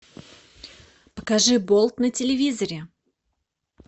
покажи болт на телевизоре